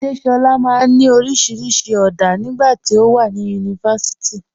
Adéṣọla maa n ni oríṣiríṣi ọ̀dá nígbà tí o wà ní yunífásíìtì.